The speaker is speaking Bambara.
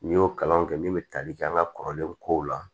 N'i y'o kalan kɛ min bɛ tali kɛ an ka kɔrɔlen kow la